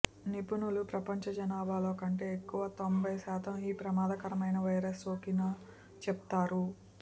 నిపుణులు ప్రపంచ జనాభాలో కంటే ఎక్కువ తొంభై శాతం ఈ ప్రమాదకరమైన వైరస్ సోకిన చెప్తారు